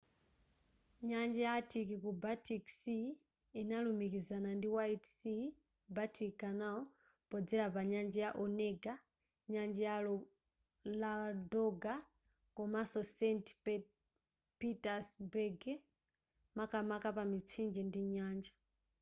nyanja ya arctic ku baltic sea inalumikizana ndi white sea baltic canal podzera pa nyanja ya onega nyanja ya ladoga komanso saint petersburg makamaka pa mitsinje ndi nyanja